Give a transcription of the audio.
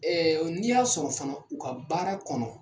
Ɛɛ n'i y'a sɔrɔ fana u ka baara kɔnɔ